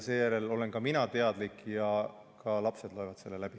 Seejärel olen ka mina teadlik ja ka lapsed loevad selle läbi.